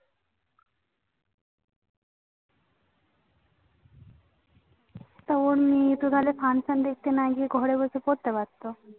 তো ওর মেয়ে তো তাহলে Function না দেখতে গিয়ে ঘরে বসে পারতে পারতো